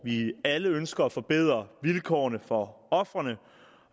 vi alle ønsker at forbedre vilkårene for ofrene